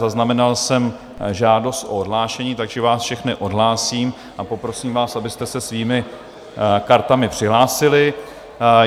Zaznamenal jsem žádost o odhlášení, takže vás všechny odhlásím a poprosím vás, abyste se svými kartami přihlásili.